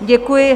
Děkuji.